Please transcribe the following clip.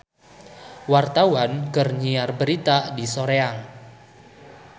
Wartawan keur nyiar berita di Soreang